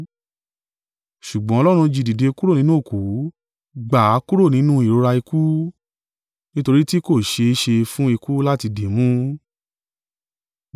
Ṣùgbọ́n Ọlọ́run jí dìde kúrò nínú òkú, gbà á kúrò nínú ìrora ikú, nítorí tí kò ṣe é ṣe fún ikú láti dìímú.